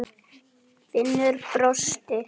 Klukkan er orðin ellefu.